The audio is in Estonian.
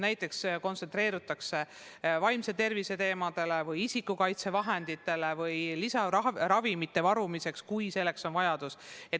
Näiteks kontsentreerutakse vaimse tervise teemadele või isikukaitsevahenditele või püütakse leida lisaraha ravimite varumiseks, kui selleks on vajadus.